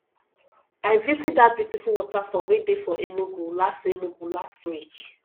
i visit dat beautiful waterfall wey dey for enugu last enugu last week